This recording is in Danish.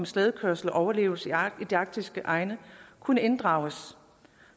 slædekørsel og overlevelse i de arktiske egne kunne inddrages